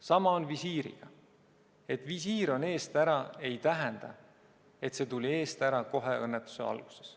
Sama on visiiriga: et visiir on eest ära, ei tähenda, et see tuli eest ära kohe õnnetuse alguses.